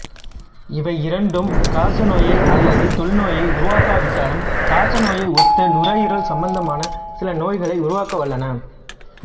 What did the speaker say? இவையிரண்டும் காச நோயையோ அல்லது தொழுநோயையோ உருவாக்காவிட்டாலும் காச நோயை ஒத்த நுரையீரல் சம்பந்தமான சில நோய்களை உருவாக்க வல்லன